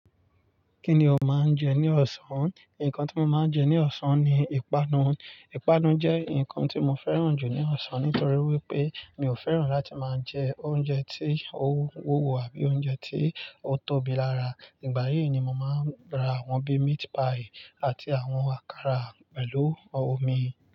Kí ni o máa ń jẹ ní ọ̀sán? Nǹkan tí mo máa ń jẹ ní ọ̀sán ni ìpanu. Ìpanu jẹ́ nǹkan tí mo fẹ́ràn jù ní ọ̀sán nítorí wípé mi ò fẹ́ràn láti máa jẹ oúnjẹ tí ó wúwo àbí oúnjẹ tí ó tóbi lára. Ìgbà yìí ni mo máa ń ra àwọn bí meat pie àti àwọn àkàrà pẹ̀lú omi.